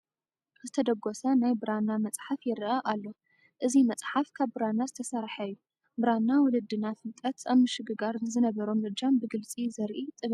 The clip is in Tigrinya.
ዝተደጐሰ ናይ ብራና መፅሓፍ ይርአ ኣሎ፡፡ እዚ መፅሓፍ ካብ ብራና ዝተሰርሐ እዩ፡፡ ብራና ወለድና ፍልጠት ኣብ ምሽግጋር ንዝነበሮም እጃም ብግልፂ ዘርኢ ጥበብ እዩ፡፡